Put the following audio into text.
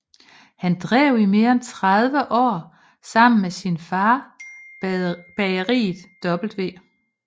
Han drev i mere end 30 år sammen med sin fader bageriet W